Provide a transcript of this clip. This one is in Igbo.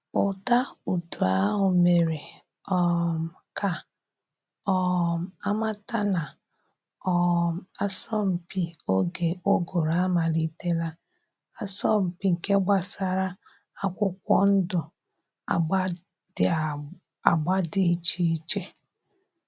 Ụda udu ahụ mere um ka um a mata na um asọmpi oge ụgụrụ amalitela, asọmpi nke gbasara akwụkwọ ndụ agba dị agba dị iche iche.